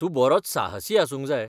तूं बरोच साहसी आसूंक जाय!